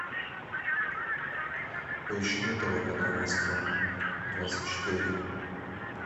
поищи на тв канал москва двадцать четыре